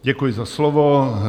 Děkuji za slovo.